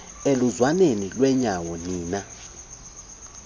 eluzwaneni lwenyawo nina